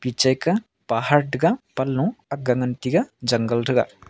picheka pahar tega panlo akga ley ngan tega jungle thega.